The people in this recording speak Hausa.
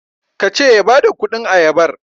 ka ce ya badakudin ayabar?